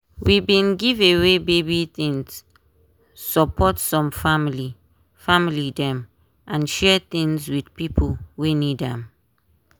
we bin give away baby things support some family family dem and share things with pipo wey need am.